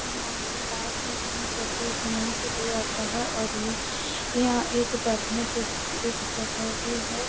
यहाँ एक पार्क है जहाँ सब कोई घूमने के लिए आता और ये यहाँ एक बैठने के लिए एक जगह भी है।